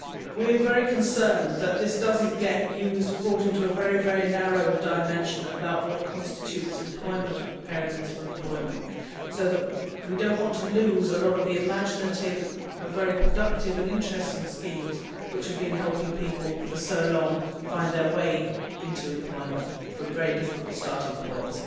We are very concerned that this does not get brought into a very narrow dimension about what constitutes employment and preparedness for employment, as we do not want to lose a lot of the imaginative and very productive and interesting schemes that have been helping people for so long find their way into employment from very difficult starting points.